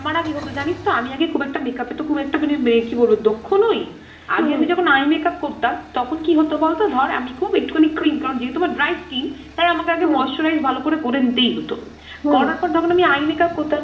আমার আগে হত জানিস তো আমি আগে খুব একটা makeup এতো খুব একটা মানে কি বলবো দক্ষ নোই। আগে eye makeup করতাম তখন কি হতো বলতো ধর আমি খুব একটুখানি ক্রিম, যেহেতু আমার dry skin তাই আমাকে moisturize ভালো করে করে নিতেই হতো। যখন আমি eye makeup করতাম